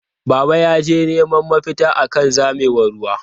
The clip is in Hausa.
Baba yaje neman mafita akan zamewar ruwa.